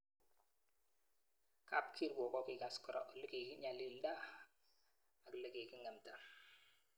Kapkiruok kokikas kora ole kikinyalilda alikiking'emta.